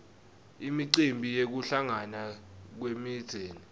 imicimbi yekuhlangana kwemindzeni